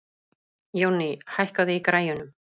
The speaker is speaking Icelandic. Jónný, hækkaðu í græjunum.